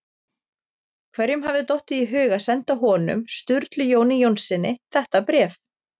Hverjum hafði dottið í hug að senda honum- Sturlu Jóni Jónssyni- þetta bréf?